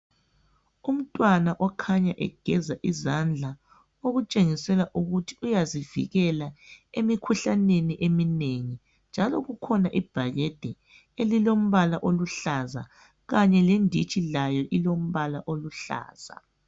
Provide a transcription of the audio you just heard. Umntwana okhanya egeza izandla okutshengisela ukuthi uyazivikela emikhuhlaneni eminengi njalo kukhona ibhakede elilombala oluhlaza kanye lenditshi layo ilombala oluhlaza.